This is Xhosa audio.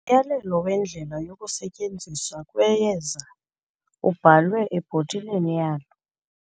Umyalelo wendlela yokusetyenziswa kweyeza ubhalwe ebhotileni yalo.